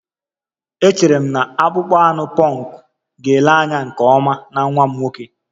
Echere m na akpụkpọ anụ punk ga-ele anya nke ọma na nwa m nwoke